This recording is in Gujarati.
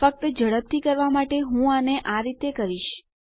ફક્ત ઝડપથી કરવા માટે હું આને આ રીતે કરીશ